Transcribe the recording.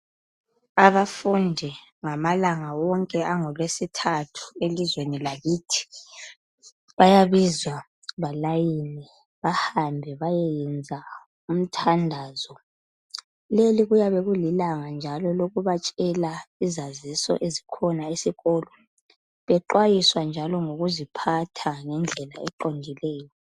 Abafundi ngamalanga wonke angolwesithathu elizweni lakithi bayabizwa balayine bahambe bayeyenza umthandazo. Leli kuyabe kulilanga njalo lokubatshela izaziso eziyabe zikhona esikolo bexwayiswa njalo ngokuziphatha ngendlela eqondileyo.